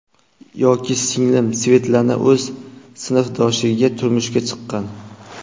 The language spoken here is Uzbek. Yoki singlim Svetlana o‘z sinfdoshiga turmushga chiqqan.